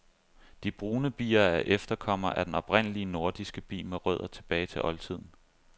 De brune bier er efterkommere af den oprindelige nordiske bi med rødder tilbage til oldtiden.